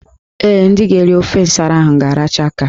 Ee, ndị ga-eri ofe nsara ahụ ga-aracha aka.